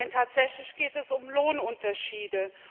Denn tatsächlich geht es um Lohnunterschiede.